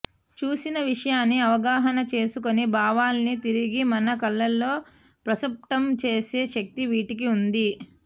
చూసిన విషయాన్ని అవగాహన చేసుకుని భావాల్ని తిరిగి మన కళ్ళల్లో ప్రస్ఫుటం చేసే శక్తి వీటికి వుంది